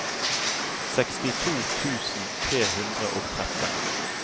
sekstito tusen tre hundre og tretten